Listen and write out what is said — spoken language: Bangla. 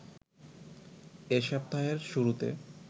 এ সপ্তাহের শুরুতে